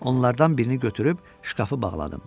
Onlardan birini götürüb şkafı bağladım.